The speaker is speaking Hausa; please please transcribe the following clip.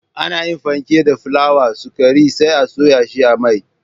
Ana yin fenke da fulawa, sukari sai a soya shi a mai